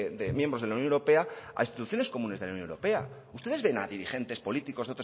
de miembros de la unión europea a instituciones comunes de la unión europea ustedes ven a dirigente políticos